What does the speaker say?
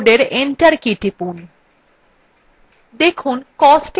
দেখুন costএর নীচের সবকটি সংখ্যা যোগ হয়ে গেছে